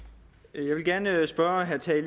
jeg vil gerne spørge herre tage